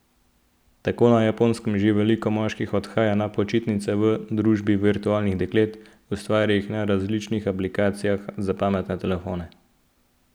Tako na Japonskem že veliko moških odhaja na počitnice v družbi virtualnih deklet, ustvarjenih na različnih aplikacij za pametne telefone.